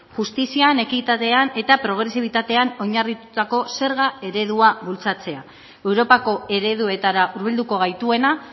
justizian ekitatean eta progresibitatean oinarritutako zerga eredua bultzatzea europako ereduetara hurbilduko gaituena